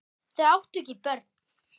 Þau áttu ekki börn.